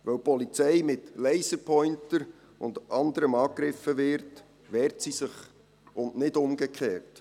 Weil die Polizei mit Laserpointern und anderem angegriffen wird, wehrt sie sich, und nicht umgekehrt.